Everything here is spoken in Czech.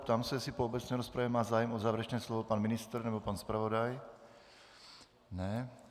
Ptám se, jestli po obecné rozpravě má zájem o závěrečné slovo pan ministr nebo pan zpravodaj. Ne.